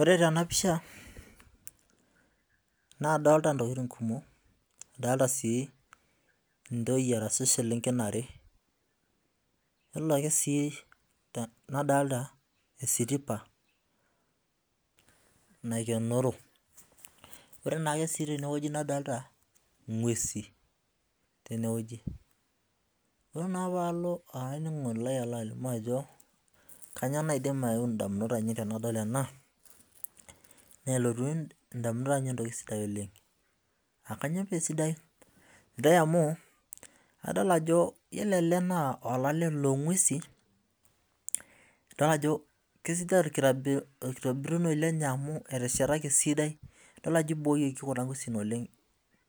Ore tenapisha nadolita ntokitin kumok adolita ntoyie ashu selenken are nadolita esitipa naikenoro ore si tenewueji nadolita ngwesi ore naa palo olaininingoni lai ajo kanyio naidik aeeu ndamunot tanadol ena iyiolo elee na olale longwesi na kajo kesidai amu ibooyieki kuna ngwesi oleng